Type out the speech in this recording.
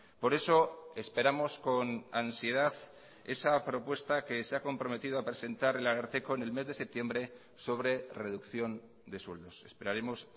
por eso esperamos con ansiedad esa propuesta que se ha comprometido a presentar el ararteko en el mes de septiembre sobre reducción de sueldos esperaremos